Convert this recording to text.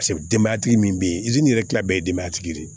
Paseke denbayatigi min be yen yɛrɛ kila bɛɛ ye denbaya tigi de ye